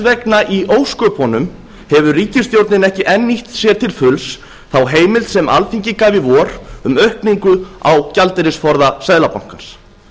vegna í ósköpunum hefur ríkisstjórnin ekki enn nýtt sér til fulls þá heimild sem alþingi gaf í vor um aukningu á gjaldeyrisforða seðlabankans